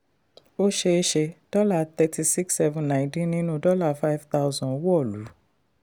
ó ṣeé ṣe dollar thirty six seven nine dín nínú dollar five thousand wọ̀lú.